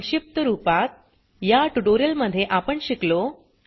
संक्षिप्त रूपात या ट्यूटोरियल मध्ये आपण शिकलो